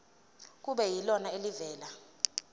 kube yilona elivela